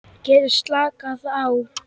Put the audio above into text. Get slakað á.